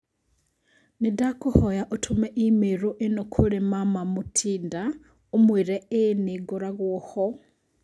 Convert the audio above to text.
Nĩndakũhoya ũtũme i-mīrū ĩno kũrĩ mama Mutinda: ũmuĩre ĩĩ nĩ ngoragũo ho